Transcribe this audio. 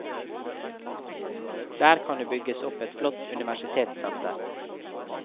Der kan det bygges opp et flott universitetssenter.